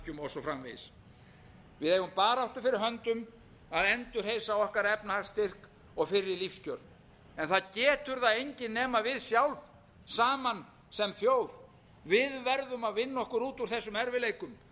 svo framvegis við eigum baráttu fyrir höndum að endurreisa okkar efnahagsstyrk og fyrri lífskjör en það getur það enginn nema við sjálf saman sem þjóð við verðum að vinna okkur út úr þessum erfiðleikum